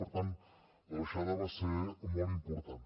per tant la baixada va ser molt important